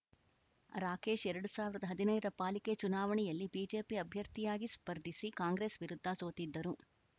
ರಾಕೇಶ್‌ ಎರಡು ಸಾವಿರದ ಹದಿನೈದರ ಪಾಲಿಕೆ ಚುನಾವಣೆಯಲ್ಲಿ ಬಿಜೆಪಿ ಅಭ್ಯರ್ಥಿಯಾಗಿ ಸ್ಪರ್ಧಿಸಿ ಕಾಂಗ್ರೆಸ್‌ ವಿರುದ್ಧ ಸೋತಿದ್ದರು